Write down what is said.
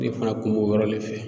Ne fana kun b'o yɔrɔ le fɛ